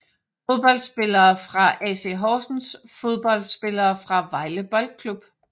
Fodboldspillere fra AC Horsens Fodboldspillere fra Vejle Boldklub